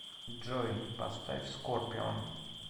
джой поставь скорпион